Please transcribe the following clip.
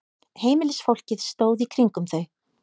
Heimilisfólkið stóð í kringum þau.